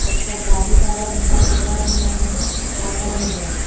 একটা গাড়ি দাঁড়ানো-দাঁড় করানোও আছে পাকা মেঝা ।